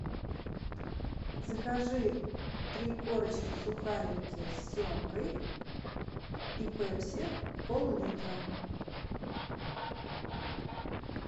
закажи три корочки сухарики с семгой и пепси поллитра